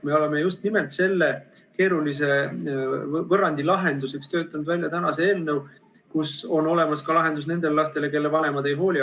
Me oleme just nimelt selle keerulise võrrandi lahendamiseks töötanud välja tänase eelnõu, milles on olemas lahendus ka nendele lastele, kelle vanemad neist ei hooli.